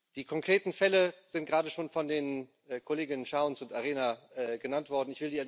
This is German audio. Die konkreten Fälle sind gerade schon von den Kolleginnen Chowns und Arena genannt worden.